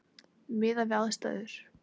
Miðað við aðstæður.